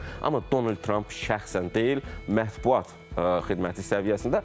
Amma Donald Tramp şəxsən deyil, mətbuat xidməti səviyyəsində.